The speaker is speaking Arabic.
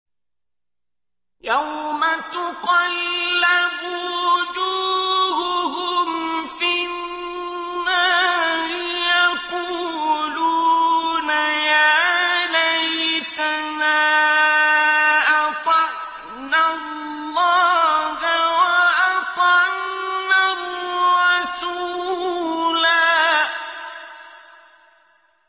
يَوْمَ تُقَلَّبُ وُجُوهُهُمْ فِي النَّارِ يَقُولُونَ يَا لَيْتَنَا أَطَعْنَا اللَّهَ وَأَطَعْنَا الرَّسُولَا